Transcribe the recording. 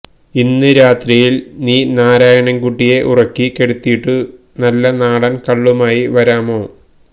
ഇന്ന് രാത്രിയിൽ നീ നാരായണൻ കുട്ടിയെ ഉറക്കി കെടുത്തിയിട്ടു നല്ല നാടൻ കള്ളുമായി വരാമോ